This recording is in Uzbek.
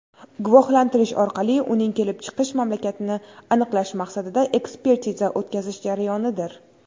guvohlantirish orqali uning kelib chiqish mamlakatini aniqlash maqsadida ekspertiza o‘tkazish jarayonidir.